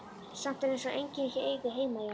Samt er eins og enginn eigi heima hérna.